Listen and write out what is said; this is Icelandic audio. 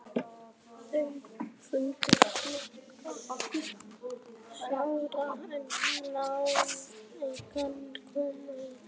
Þau fundu nokkra skúra en enga konu í þeim.